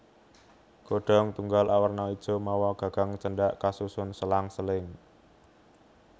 Godhong tunggal awerna ijo mawa gagang cendhak kasusun selang seling